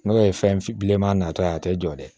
N'o ye fɛn filema nata ye a tɛ jɔ dɛ